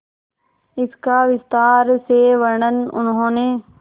इसका विस्तार से वर्णन उन्होंने